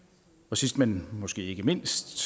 sidst men måske ikke mindst